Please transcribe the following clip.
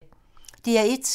DR1